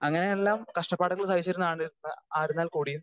speaker 2 അങ്ങനെയെല്ലാം കഷ്ടപ്പാടുകൾ സഹിച്ചിരുന്ന ആയിരുന്നേൽ കൂടിയും